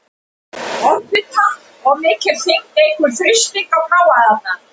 Offita- Of mikil þyngd eykur þrýsting á bláæðarnar.